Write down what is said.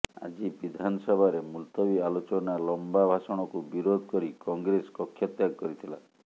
ଆଜି ବିଧାନସଭାରେ ମୁଲତବୀ ଆଲୋଚନା ଲମ୍ବା ଭାଷଣକୁ ବିରୋଧ କରି କଂଗ୍ରେସ କକ୍ଷତ୍ୟାଗ କରିଥିଲା